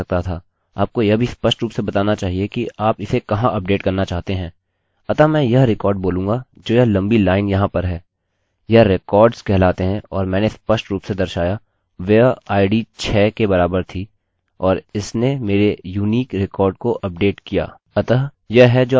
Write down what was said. अतः यह है जो आपने सीखा कैसे वेल्यूज़ प्रविष्ट करें और इसके साथ ही कैसे कुछ वेल्यूज़ को अपडेट करें यदि आपने उसे गलत कर दिया जैसे मैंने किया था या यदि आप केवल कुछ डेटा अपडेट करना चाहते हैं जोकि ज़्यादातर होता है जब आप अपने डेटाबेसेस के साथ कार्य करते हैं